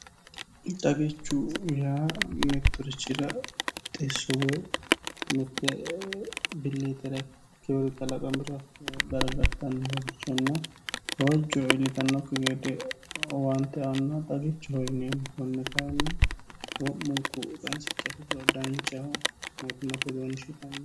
xagichu miya mettorichira xissowe mitte billiitirekkkiyori klaqa biro gargartannohorichonna gawajjo iillitannokki gede waante anno xagichi hoyineemm kunni kainni wo'munku qainsici daanchaho mootematedoonshi kannin